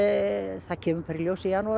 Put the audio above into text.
það kemur bara í ljós í janúar